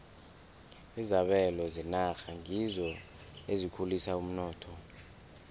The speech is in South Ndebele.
izabelo zenarha ngizo ezikhulisa umnotho